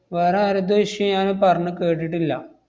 വേറെ ആരെതും issue ഞാന് പറഞ്ഞ് കേട്ടിട്ടില്ല.